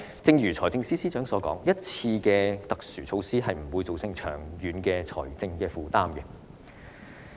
正如財政司司長所言，一次過的特殊措施不會造成長遠的財政負擔。